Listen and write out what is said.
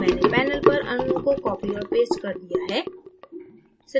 मैंने panel पर अणुओं को copied और pasted कर दिया है